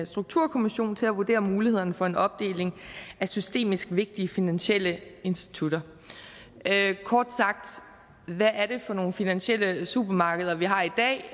strukturkommission til at vurdere mulighederne for en opdeling af systemisk vigtige finansielle institutter kort sagt hvad er det for nogle finansielle supermarkeder vi har i dag